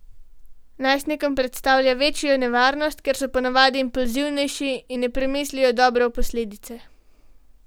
Najstnikom predstavlja večjo nevarnost, ker so po navadi impulzivnejši in ne premislijo dobro o posledicah.